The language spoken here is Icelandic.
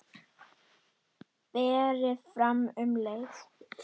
Berið fram um leið.